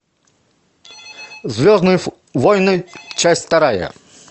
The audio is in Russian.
звездные войны часть вторая